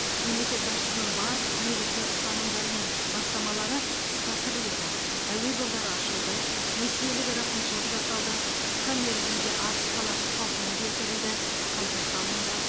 мемлекет басшысының барлық негізгі ұстанымдары мен бастамалары іске асырылуда әуе жолдары ашылды несиелік рақымшылық жасалды қысқа мерзімде арыс қаласы қалпына келтірілді қайта салынды